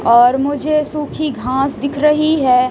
और मुझे सूखी घास दिख रही है।